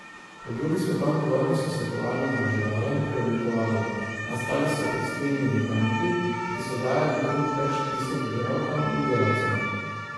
Po drugi svetovni vojni so se tovarne združevale in preoblikovale, nastali so tekstilni giganti, ki so dajali kruh več tisoč delavkam in delavcem.